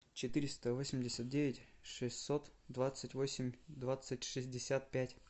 четыреста восемьдесят девять шестьсот двадцать восемь двадцать шестьдесят пять